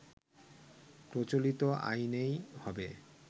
প্রচলিত আইনেই হবে